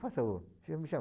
Faça o... Me chama